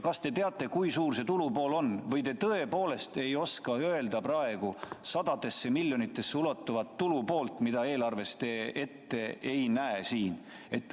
Kas te teate, kui suur see tulupool on, või te tõepoolest ei oska praegu öelda midagi sadadesse miljonitesse ulatuva tulupoole kohta, mida te selles eelarves ette ei näe?